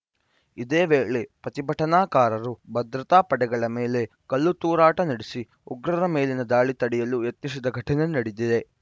ಇದೇ ವೇಳೆ ಪ್ರತಿಭಟನಾಕಾರರು ಭದ್ರತಾ ಪಡೆಗಳ ಮೇಲೆ ಕಲ್ಲು ತೂರಾಟ ನಡೆಸಿ ಉಗ್ರರ ಮೇಲಿನ ದಾಳಿ ತಡೆಯಲು ಯತ್ನಿಸಿದ ಘಟನೆ ನಡೆದಿದೆ